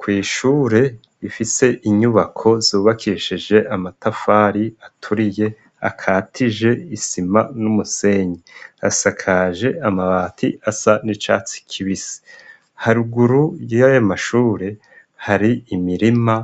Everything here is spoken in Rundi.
Kw'ishure rifise inyubako zubakishije amatafari aturiye akatije isima n'umusenyi. Asakaje amabati asa n'icatsi kibisi. Haruguru yayo mashure, har'imirima